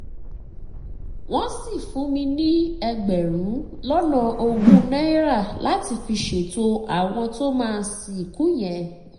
wọ́n sì fún mi ní ẹgbẹ̀rún lọ́nà ogún náírà láti fi ṣètò àwọn tó máa sìnkú yẹn